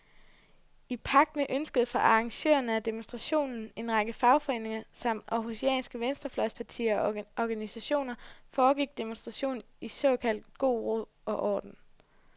I pagt med ønsket fra arrangørerne af demonstrationen, en række fagforeninger samt århusianske venstrefløjspartier og organisationer, foregik demonstrationen i såkaldt god ro og orden.